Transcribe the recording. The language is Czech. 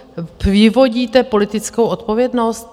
Vyvodíte politickou odpovědnost?